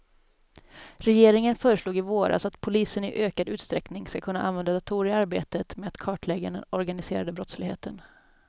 Regeringen föreslog i våras att polisen i ökad utsträckning ska kunna använda datorer i arbetet med att kartlägga den organiserade brottsligheten.